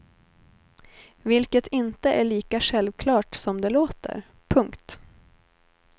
Vilket inte är lika självklart som det låter. punkt